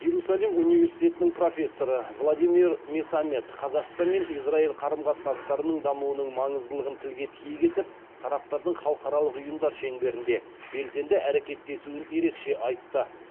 иерусалим университетінің профессоры владимир месамед қазақстан мен израиль қарым қатынастарының дамуының маңыздылығын тілге тиек етіп тараптардың халықаралық ұйымдар шеңберінде белсенді әрекеттесуін ерекше айтты